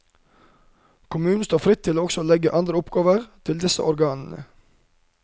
Kommunen står fritt til også å legge andre oppgaver til disse organene.